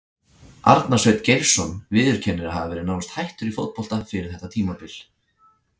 Arnar Sveinn Geirsson viðurkennir að hafa verið nánast hættur í fótbolta fyrir þetta tímabil.